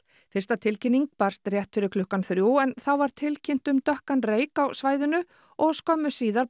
fyrsta tilkynning barst rétt fyrir klukkan þrjú en þá var tilkynnt um dökkan reyk á svæðinu og skömmu síðar